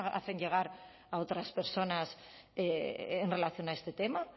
hacen llegar a otras personas en relación a este tema